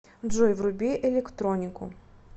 джой вруби электронику